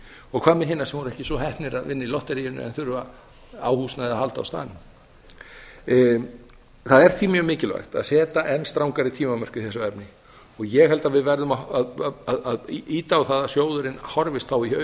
og hvað með hina sem voru ekki svo heppnir að vinna í lotteríinu en þurfa á húsnæði að halda á staðnum það er því mjög mikilvægt að setja enn strangari tímamörk í þessu efni og ég held að við verðum að ýta á það að sjóðurinn horfist þá í